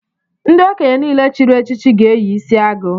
Ndị okenye niile chịrị echichi ga-eyi isiagu